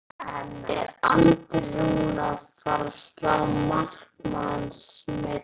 Er Andri Rúnar að fara að slá markametið í sumar?